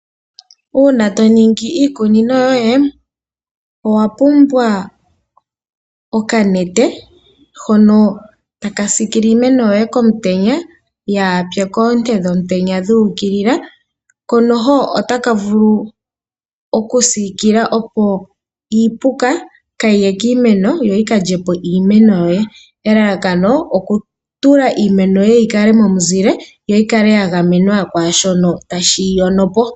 Uuna to ningi iikunino yoye owa pumbwa okanete hono taka sikile iimeno yoye komutenya yaase koonte dhomutenya dhu ukilila ko noho otaka vulu okusikila iipuka kayi ye kiimeno yo yika lye po iimeno yoye elalakano okutula iimeno yoye yi kale momu zile yo yikale ya gamenwa kwashono tashi dhi yono po.